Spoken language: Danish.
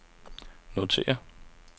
notér